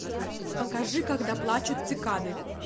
покажи когда плачут цикады